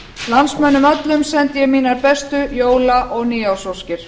landsmönnum öllum sendi ég mínar bestu jóla og nýársóskir